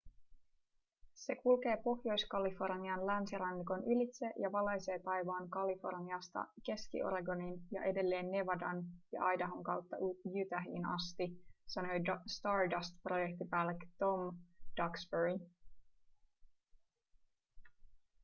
se kulkee pohjois-kalifornian länsirannikon ylitse ja valaisee taivaan kaliforniasta keski-oregoniin ja edelleen nevadan ja idahon kautta utahiin asti sanoi stardustin projektipäällikkö tom duxbury